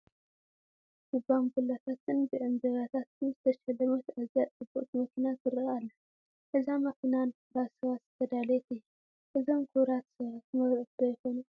ብባንቡላታትን ብዕምባባታትን ዝተሸለመት ኣዝያ ፅብቕቲ መኪና ትርአ ኣላ፡፡ እዛ መኪና ንክቡራት ሰባት ዝተዳለወት እያ፡፡ እዞም ክቡራት ሰባት መርዑት ዶ ይኾኑ?